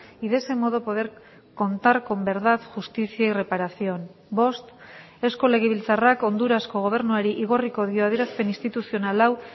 y de ese modo poder contar con verdad justicia y reparación bost eusko legebiltzarrak hondurasko gobernuari igorriko dio adierazpen instituzional hau